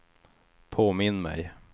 påminn mig